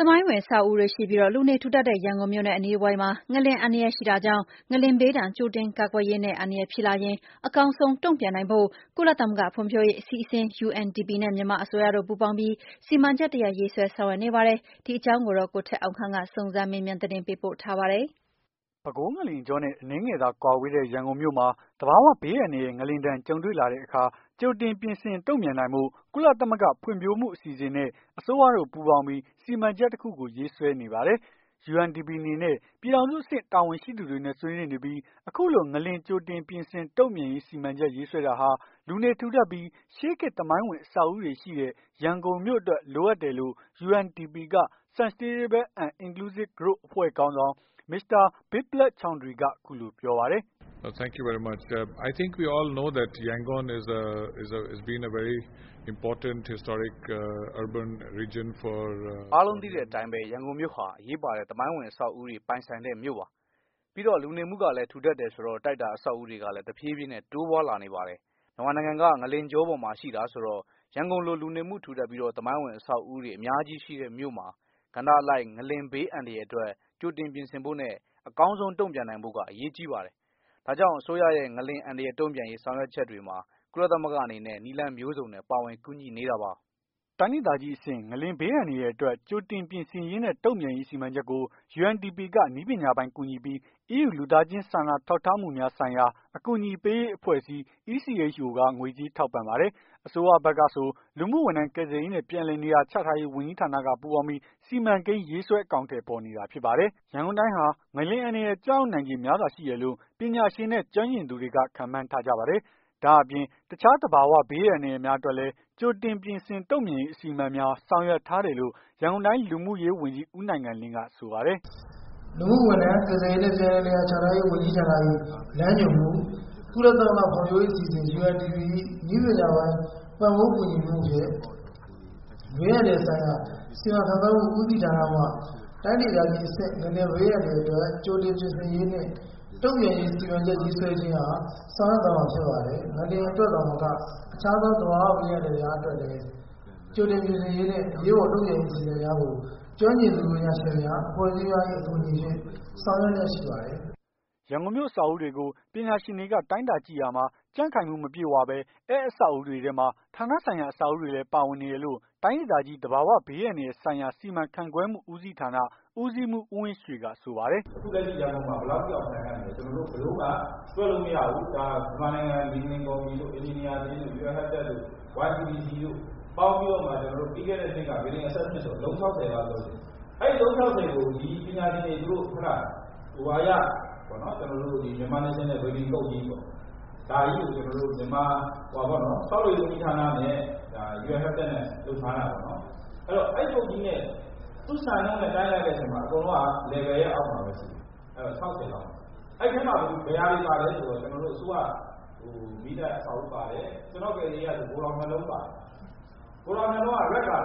သမိုင်းဝင်အဆောက်အဦးတွေရှိပြီး လူနေထူထပ်တဲ့ ရန်ကုန်မြို့နဲ့ အနီးတဝိုက်မှာ ငလျှင်အန္တရာယ်ရှိတာကြောင့်၊ ငလျှင်ဘေးဒဏ် ကြိုတင်ကာကွယ်ရေးနဲ့ အန္တရာယ်ဖြစ်လာရင် အကောင်းဆုံးတုန့်ပြန်နိုင်ဖို့ ကုလသမဂ္ဂဖွံဖြိုးရေးအစီအစဉ် UNDP နဲ့ မြန်မာအစိုးရတို့ ပူးပေါင်းပြီး စီမံချက်တရပ် ရေးဆွဲဆောင်ရွက်နေပါပြီ။ ဒီ အခြေအနေနဲ့ပတ်သက်လို့ ဗွီအိုအေ သတင်းထောက် ကိုထက်အောင်ခန့်က စုံစမ်းမေးမြန်းပြီး သတင်းပေးပို့ထားပါတယ်။ ပဲခူးငလျင်ကြောနဲ့ အနည်းငယ်သာ ကွာဝေးတဲ့ ရန်ကုန်မြို့မှာ သဘာဝဘေးအန္တရာယ် ငလျင်ဒဏ် ကြုံတွေ့ လာတဲ့အခါမှာ ကြိုတင်ပြင်ဆင်တုံ့ပြန်နိုင်ဖို့ ကုလသမဂ္ဂဖွံ့ဖြိုးမှုအစီအစဉ်နဲ့ အစိုးရတို့ ပူးပေါင်းပြီး စီမံချက်တခုကို ရေးဆွဲနေပါတယ်။ UNDP အနေနဲ့ ပြည်ထောင် စုအဆင့် တာဝန်ရှိသူတွေနဲ့ ဆွေးနွေးနေပြီး အခုလို ငလျင် ကြိုတင်ပြင်ဆင် တုံ့ပြန်ရေး စီမံချက်ရေးဆွဲတာဟာ လူနေထူထပ်ပြီး ရှေးခေတ်သမိုင်းဝင် အဆောက်ဦးတွေရှိတဲ့ ရန်ကုန်မြို့အတွက် လိုအပ်တယ်ဆို့ UNDP က Sustainable and inclusive Growth အဖွဲ့ခေါင်းဆောင် Mr.Biplove Choudhary က အခုလို ပြောပါတယ်။ "အားလုံးသိတဲ့အတိုင်းပဲ ရန်ကုန်မြို့ဟာ အရေးပါတဲ့ သမိုင်းဝင်အဆောက်အဦးတွေပိုင်ဆိုင်တဲ့မြို့ပါ။ ပြီးတော့ လူနေမှုလည်းထူထပ်တယ်ဆိုတော့ တိုက်တာအဆောက်အဦးတွေကလည်း တဖြေးဖြေး တိုးပွားလာနေပါတယ်။ မြန်မာနိုင်ငံက ငလျင်ကြောပေါ်မှာရှိတာဆိုတော့ ရန်ကုန်လိုလူနေမှုထူထပ်ပြီး သမိုင်းဝင်အဆောက်အဦးတွေအများကြီးရှိတဲ့မြို့မှာ ကဏ္ဍအလိုက် ငလျင်ဘေးအန္တရာယ်အတွက် ကြိုတင်ပြင်ဆင်ဖို့နဲ့ အကောင်းဆုံးတုံ့ပြန်နိုင်ဖို့က အရေးကြီးပါတယ်။ ဒါကြောင့်အစိုးရရဲ့ ငလျင်အန္တရာယ်တုံပြန်ရေး ဆောင်ရွက်ချက်မှာ ကုလသမဂ္ဂအနေနဲ့ နည်းလမ်းမျိုးစုံနဲ့ ပါဝင်ကူညီနေတာပါ။ " တိုင်းဒေသကြီးအဆင့် ငလျင်ဘေးအန္တရာယ်အတွက် ကြိုတင်ပြင်ဆင်ရေးနဲ့ တုံ့ပြန်ရေးစီမံချက်ကို UNDP က နည်းပညာပိုင်းကူညီပြီး EU လူသားချင်းဆိုင်ရာ စာနာထောက်ထားမှုများ ဆိုင်ရာ အကူအညီ ပေးရေး အဖွဲ့ အစည်း က ငွေကြေးထောက်ပံ့ပါတယ်။ အစိုးရဖက်ကဆို လူမှုဝန်ထမ်း ကယ်ဆယ်ရေးနဲ့ ပြန်လည် နေရာ ချထားရေး ဝန်ကြီးဌာနက ပူးပေါင်းပြီး စီမံကိန်း ရေးဆွဲ အကောင်အထည်ဖော်နေတာဖြစ်ပါတယ်။ ရန်ကုန်တိုင်းဟာ ငလျင်အန္တရာယ် ကျရောက်နိုင်ခြေ များစွာရှိတယ်လို့ ပညာရှင်နဲ့ ကျွမ်းကျင်သူတွေက ခန့်မှန်း ထားကြပါတယ်။ ဒါ့အပြင်တခြားသဘာ၀ ဘေးအန္တရာယ်များအတွက်လည်း ကြိုတင်ပြင်ဆင် တုံ့ပြန်ရေး အစီအမံများ ဆောင်ရွက် ထားတယ်လို့ ရန်ကုန်တိုင်း လူမှုရေးဝန်ကြီး ဦးနိုင်ငံလင်းက ဆိုပါတယ်။ " လူမှုဝန်ထမ်း ကယ်ဆယ်ရေးနှင့် ပြန်လည်နေရာ ချထားရေး ဝန်ကြီးဌာန၏ လမ်းညွှန်မှု ကုလသမဂ္ဂဖွံ့ဖြိုးမှု အစီအစဉ် ၏ နည်းပညာပိုင်း ပံ့ပိုးကူညီမှုဖြင့် ဘေးအန္တ ရာယ်ဆိုင်ရာ စီမံခန့်ခွဲမှုဦးစီဌာနမှ တိုင်းဒေသကြီးအဆင့် ငလျင်ဘေးအန္တရာယ်အတွက် ကြိုတင်ပြင်ဆင်ရေးနှင့် တုံ့ပြန်ရေး စီမံချက်ရေးဆွဲခြင်း အား ဆောင်ရွက်သွားမှာဖြစ်ပါတယ်။ ငလျင်အတွက်သာမက အခြားသော သဘာဝဘေးအန္တရာယ်များ အတွက်လည်း ကြိုတင်ပြင်ဆင်ရေးနှင့် အရေးပေါ် တုံ့ပြန်ရေးအစီအမံများကို ကျွမ်းကျင်သူ ပညာရှင်များ အဖွဲ့အစည်းများ၏ အကူအညီဖြင့် ဆောင်ရွက်လျက် ရှိပါတယ်။" ရန်ကုန်မြို့ အဆောက်အဦးတွေကို ပညာရှင်တွေက တိုင်းတာကြည့်ရာမှာ ကြံ့ခိုင်မှု မပြည့်ဝဘဲ အဲ့အဆောက် အဦးတွေထဲမှာ ဌာနဆိုင်ရာ အဆောက်အဦးတွေလည်း ပါဝင်နေတယ်လို့ တိုင်းဒေသကြီး သဘာဝဘေးအန္တ ရာယ်ဆိုင်ရာ စီမံခန့်ခွဲမှုဦးဌာန ဦးစီးမှုး ဦးဝင်ရွှေက ဆိုပါတယ်။ "အခုလက်ရှိ ရန်ကုန်မှာ ဘယ်လောက်ထိတောင် ခိုင်ခံ့မလည်းဆိုတာ ဘယ်လိုမှ တွက်လို့မရဘူး။ မြန်မာနိုင်ငံ မြေငလျင် ကော်မတီတို့ အင်ဂျင်နီယာအသင်းတို့ Un habitat တို့ YCDC တို့ ပေါင်းပြီးတော့မှ ပြီးခဲ့တဲ့နှစ်က Building Assessment အလုံး ၆၀ လောက်လုပ်တယ်။ အဲ့အလုံး ၆၀ ကို ဒီပညာရှင်တွေ သူတို့ Myanmar National Building Code ကြီးကို ဆောက်လုပ်ရေး ဝန်ကြီးဌာနနဲ့ Un habitat တို့ လုပ်ထားတာပေါ့နော်။ အဲ့ code ကြီးနဲ့ သူ့စံနှုန်းနဲ့ တိုင်းလိုက်တဲ့အခါကျတော့ အကုန်လုံးက Level ရဲ့အောက်မှာပဲရှိတယ်။ ၆၀ လောက်ပဲရှိတယ်။ အဲ့ထဲမှာ ဘယ်ဟာတွေပါလည်းဆိုတော့ ကျွန်တော်တို့ အစိုးရ မီးသတ်အဆောက်အဦး ပါတယ်။ ကျွန်တော့်ကယ်ဆယ်ရေးကဆို ဂိုထောင် ၂ လုံးပါတယ်။ ဂိုထောင် ၂ လုံးက Red Colour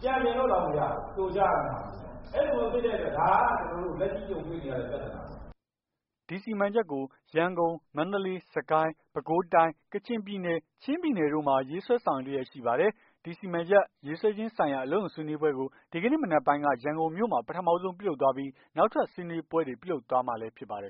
ပြန်ပြင်လို့ တောင်မရဘူး ဖြိုချရမယ့်ဟာမျိုးပေါ့ အဲ့လိုမျိုးဖြစ်တဲ့အတွက် ဒါကကျွန်တော်တို့ လက်ရှိကြုံတွေ့နေရတဲ့ ပြသာနာပေါ့။" ဒီစီမံချက်ကို ငလျင်ရန်ကုန် မန္တလေး စစ်ကိုင်း ပဲခူးတိုင်း ကချင်ပြည်နယ် ချင်းပြည်နယ်တို့မှာ ရေးဆွဲ ဆောင်ရွက်လျက်ရှိပါတယ်။ ဒီစီမံချက်ရေးဆွဲခြင်းဆိုင်ရာ အလုပ်ရုံဆွေးနွေးပွဲကို ဒီကနေ့ မနက်ပိုင်းက ရန်ကုန်မြို့မှာ ပထမဆုံး ပြုလုပ်သွားပြီး နောက်ထပ် ဆွေးနွေးပွဲတွေ ပြုလုပ်သွားမှာလည်း ဖြစ်ပါတယ်